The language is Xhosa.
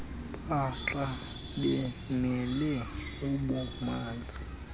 maatla bemele ububanzi